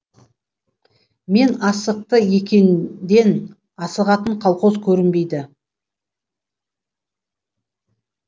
мен асықты екен ден асығатын колхоз көрінбейді